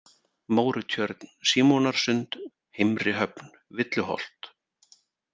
Mórutjörn, Símonarsund, Heimri-Höfn, Villuholt